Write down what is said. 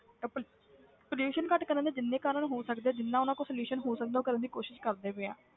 ਤਾਂ ਪਲ~ pollution ਘੱਟ ਕਰਨ ਦੇ ਜਿੰਨੇ ਕਾਰਨ ਹੋ ਸਕਦੇ ਆ ਜਿੰਨਾ ਉਹਨਾਂ ਕੋਲ solution ਹੋ ਸਕਦਾ ਉਹ ਕਰਨ ਦੀ ਕੋਸ਼ਿਸ਼ ਕਰਦੇ ਪਏ ਆ।